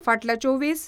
फाटल्या चोवीस